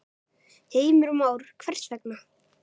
Heimir Már: Hvers vegna?